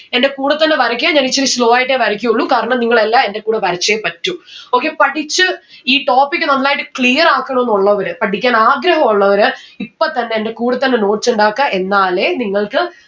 എന്റെ കൂടെ തന്നെ വരക്ക ഞാൻ ഇച്ചിരി slow ആയിട്ടേ വരക്കുള്ളു കാരണം നിങ്ങൾ എല്ലാ എന്റെ കൂടെ വരച്ചേ പറ്റു okay പഠിച്ച് ഈ topic നന്നായിട്ട് clear ആക്കണോന്ന് ഉള്ളവര് പഠിക്കാൻ ആഗ്രഹോ ഉള്ളവര് ഇപ്പൊത്തന്നെ എന്റെ കൂടെ തന്നെ notes ഇണ്ടാക്ക എന്നാലേ നിങ്ങൾക്ക്